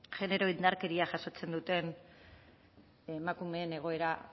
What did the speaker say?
genero indarkeria jasotzen duten emakumeen egoera